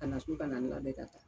Ka na so ka na n labɛn ka taa